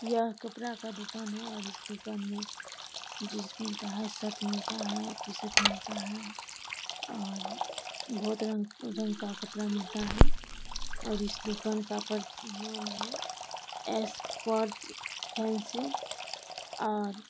यह कपड़ा का दुकान है और इस दुकान में जींस मिलता है शर्ट मिलता है टी-शर्ट मिलता है और बोहोत रंग रंग का कपड़ा मिलता है और इस दुकान का पर नाम है एसपर्ट फैंसी और --